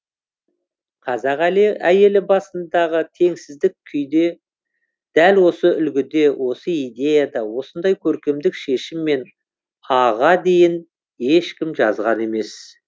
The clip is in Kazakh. қазақ әйелі басындағы теңсіздік күйді дәл осы үлгіде осы идеяда осындай көркемдік шешіммен а ға дейін ешкім жазған емес